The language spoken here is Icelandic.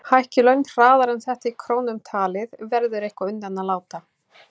Sjá nánar á heimasíðu fjármálaráðuneytisins.